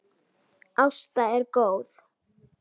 Ásta er góð.